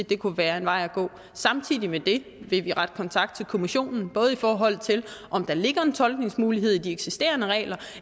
det kunne være en vej at gå samtidig med det vil vi rette kontakt til kommissionen både i forhold til om der ligger en tolkningsmulighed i de eksisterende regler og